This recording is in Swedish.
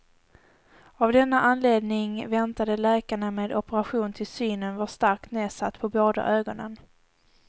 Av denna anledning väntade läkarna med operation tills synen var starkt nedsatt på båda ögonen.